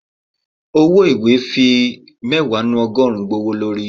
ọwọ ìwé fi ogorun mẹwa gbówólorí.